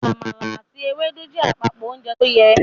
Àmàlà àti Ewédú jẹ́ àpapọ ounjẹ tóyẹ